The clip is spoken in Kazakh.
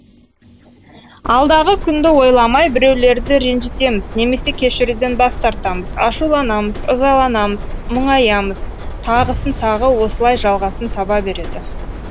алдағы күнді ойламай біреулерді ренжітеміз немесе кешіруден бас тартамыз ашуланамыз ызаланымыз мұңайамыз тағысын тағы осылай жалғасын таба береді